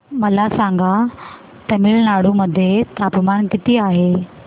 मला सांगा तमिळनाडू मध्ये तापमान किती आहे